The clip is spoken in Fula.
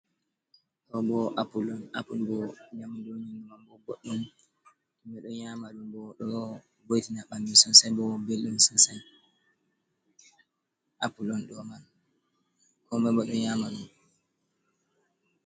Ɗo bo apule on, apule bo nyamdu man bo boɗɗum himɓɓe ɗo nyama ɗum bo ɗo bo’itina ɓanɗu sosai bo belɗum sosai, apule on ɗo man, komai bo ɗo nyama ɗum.